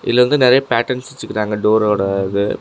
இதுல வந்து நெறைய பேட்டர்ன்ஸ் வச்சுருக்காங்க டோரா இது.